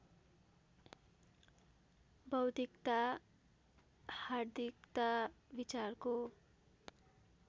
बौद्धिकता हार्दिकता विचारको